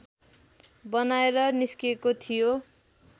बनाएर निस्केको थियो